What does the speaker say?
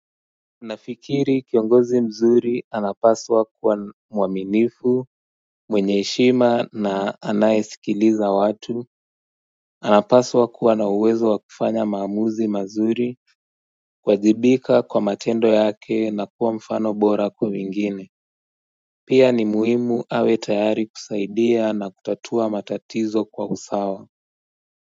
Unafikiri kiongozi mzuri anapaswa kuwa mwaminifu mwenye heshima na anayesikiliza watu anapaswa kuwa na uwezo wa kufanya maamuzi mazuri kuwajibika kwa matendo yake na kuwa mfano bora kwa wengine Pia ni muhimu awe tayari kusaidia na kutatua matatizo kwa usawa.